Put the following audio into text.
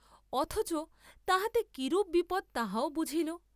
অথচ তাহাতে কিরূপ বিপদ তাহাও বুঝিল।